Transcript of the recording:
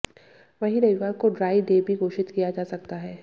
वहीं रविवार को ड्राई डे भी घोषित किया जा सकता है